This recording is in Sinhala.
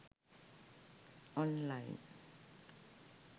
online